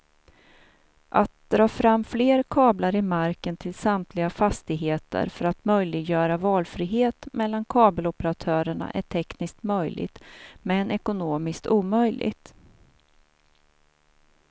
Att dra fram fler kablar i marken till samtliga fastigheter för att möjliggöra valfrihet mellan kabeloperatörerna är tekniskt möjligt men ekonomiskt omöjligt.